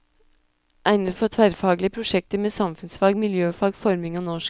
Egnet for tverrfaglige prosjekter med samfunnsfag, miljøfag, forming og norsk.